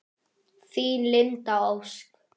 Þín, Linda Ósk.